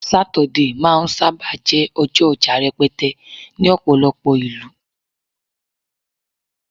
Saturday ma n saba jé ọjọ oja rẹpẹtẹ ní ọpọlọpọ ìlú